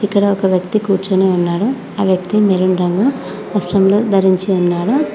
ఇక్కడ ఒక వ్యక్తి కూర్చొని ఉన్నాడు ఆ వ్యక్తి మెరున్ రంగు వస్త్రం లో ధరించి ఉన్నాడు.